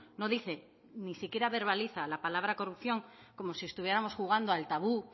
no dice ni siquiera verbaliza la palabra corrupción como si estuviéramos jugando al tabú